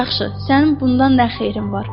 Yaxşı, sənin bundan nə xeyrin var?